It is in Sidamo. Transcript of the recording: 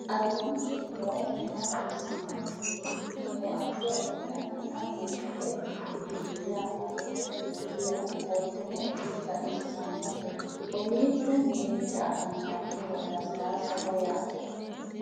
aleenni nooti maa xawisanno misileeti yinummoro addi addi dananna kuula woy biinsille amaddino footooti yaate qoltenno baxissannote kowiicho mirinda anganniho lasilaassaho yaate